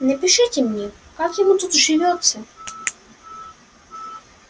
напишите мне как ему тут живётся